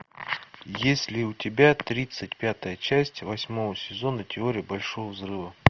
есть ли у тебя тридцать пятая часть восьмого сезона теория большого взрыва